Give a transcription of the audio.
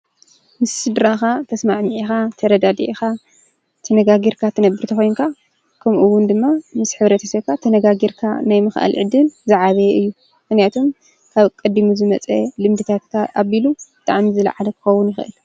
ምስ ስድራኻ ተስማሚዕኻ ተረዳዲእኻ ትነጋጊርካ ትነብር ተኮይንካ ከምኡ እውን ድማ ምስ ሕብረተሰብካ ተነጋጊርካ ናይ ምኽኣል ዕድል ዝዓበየ እዩ ሞክንያቱም ካብ ቀዲሙ ዝመፀ ልምድታትካ ኣቢሉ ብጣዕሚ ዝለዓለ ክኸዉን ይኽእል።